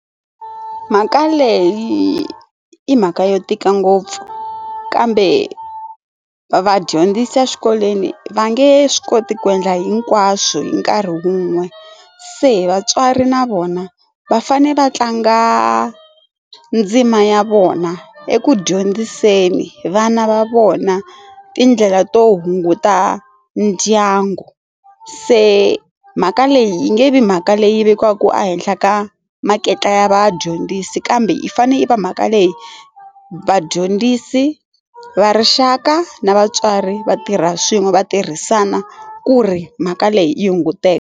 Mhaka leyi i mhaka yo tika ngopfu kambe va dyondzisa eswikolweni va nge swi koti ku endla hinkwaswo hi nkarhi wun'we se vatswari na vona va fane va tlanga ndzima ya vona eku dyondziseni vana va vona tindlela to hunguta ndyangu se mhaka leyi yi nge vi mhaka leyi vekiwaku ehenhla ka makete ya vadyondzisi kambe i fane i va mhaka leyi vadyondzisi va rixaka na vatswari vatirha swin'we va tirhisana ku ri mhaka leyi yi hunguteka.